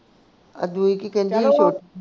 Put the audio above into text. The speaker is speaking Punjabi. ਆ ਕੀ ਕਹਿੰਦੀ ਹੀ ਛੋਟੀ